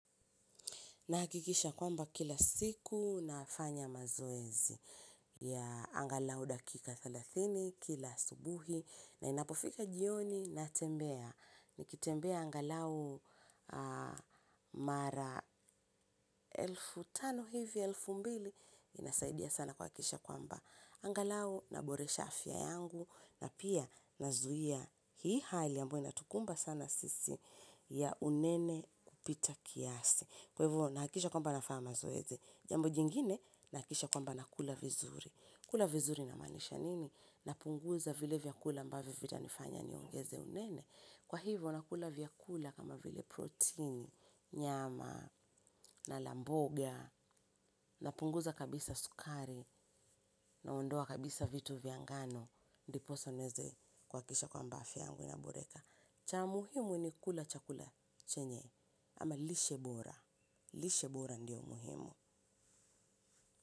Nahakikisha kwamba kila siku nafanya mazoezi ya angalau dakika thelathini kila asubuhi na inapofika jioni natembea. Nikitembea angalau mara elfu tano hivi, elfu mbili, inasaidia sana kuhakikisha kwamba. Angalau naboresha afya yangu na pia nazuia hii hali ambayo inatukumba sana sisi ya unene kupita kiasi. Kwa hivyo nahakikisha kwamba nafanya mazoezi. Jambo jingine nahakikisha kwamba nakula vizuri. Kula vizuri inamaanisha nini? Napunguza vile vyakula ambavyo vitanifanya niongeze unene. Kwa hivyo nakula vyakula kama vile protein nyama na la mboga. Napunguza kabisa sukari naondoa kabisa vitu vya ngano. Ndiposa niweze kuhakikisha kwamba afya yangu inaboreka. Cha muhimu ni kula chakula chenye ama lishe bora lishe bora ndio muhimu.